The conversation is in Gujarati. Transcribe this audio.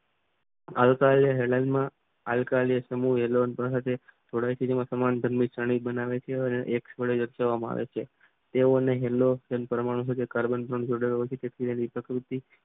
આ વત્રય લાઈન માં આલકાઈલ સમુહવેલોન જોડાણ સમાન ધર્મે કણ બનાવે છે અને એક્ષ જોડે લટકાવવામાં આવે છે. તેઓને હેલ્લો તેમ કાર્બન પરમાણુ